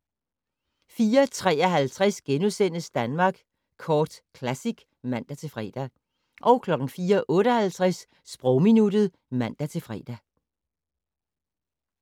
04:53: Danmark Kort Classic *(man-fre) 04:58: Sprogminuttet (man-fre)